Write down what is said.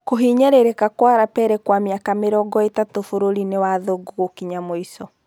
Kũhinyĩrĩrĩka kwa Lapele kwa mĩaka mĩrongoĩtatu Mũbĩrainĩ wa Thũngũ gũkinya mũico.